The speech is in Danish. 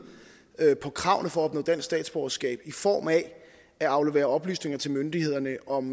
på kravene for at opnå dansk statsborgerskab i form af at aflevere oplysninger til myndighederne om